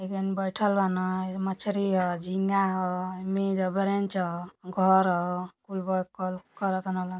एक जानी बइठल बाने मछरी ह झींगा मेज ह ब्रेंच ह घर ह --